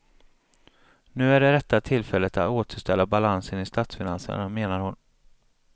Nu är det rätta tillfället att återställa balansen i statsfinanserna, menar hon.